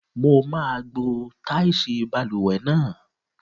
Mo máa gbo táìsì balùwẹ̀ náà.